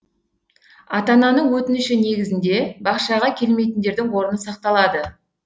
ата ананың өтініші негізінде бақшаға келмейтіндердің орны сақталады